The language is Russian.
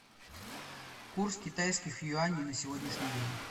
курс китайских юаней на сегодняшний день